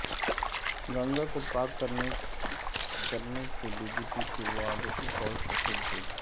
گنگا کو پاک کرنے کے بی جے پی کے وعدے ایک اور سفید جھوٹ